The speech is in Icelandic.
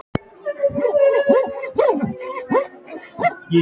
Nei, forboðnir ávextir á borð við appelsínur, epli og banana.